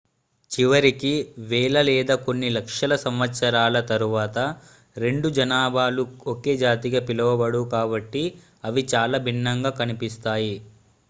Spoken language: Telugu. చివరికి వేల లేదా కొన్ని లక్షల సంవత్సరాల తరువాత రెండు జనాభాలు ఒకే జాతిగా పిలవబడవు కాబట్టి అవి చాలా భిన్నంగా కనిపిస్తాయి